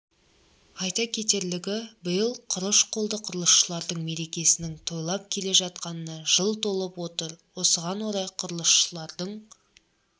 айта кетерлігі биыл құрыш қолды құрылысшылардың мерекесінің тойланып келе жатқанына жыл толып отыр осыған орай құрылысшылардың